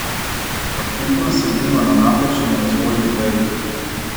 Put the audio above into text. Očitno sedimo na napačni razvojni veji.